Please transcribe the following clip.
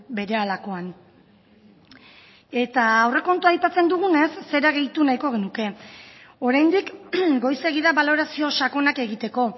berehalakoan eta aurrekontua aipatzen dugunez zera gehitu nahiko genuke oraindik goizegi da balorazio sakonak egiteko